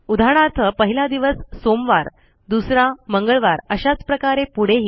उदाहरणार्थ पहिला दिवसMonday दुसरा ट्यूसडे अशाच प्रकारे पुढेही